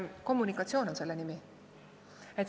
Kommunikatsioon on selle nimi.